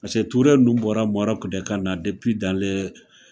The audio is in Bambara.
Pase Ture ninnu bɔra Maroc de kana